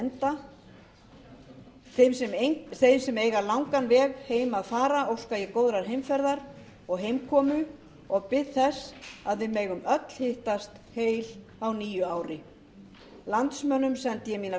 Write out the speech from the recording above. enda þau sem eiga langan veg heim að fara óska ég góðrar heimferðar og heimkomu og bið þess að við megum öll hittast heil á nýju ári landsmönnum sendi ég mínar